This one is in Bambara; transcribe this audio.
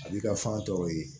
A b'i ka fan tɔw ye